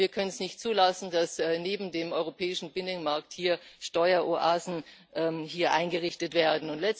Wir können es nicht zulassen, dass neben dem europäischen Binnenmarkt hier Steueroasen eingerichtet werden.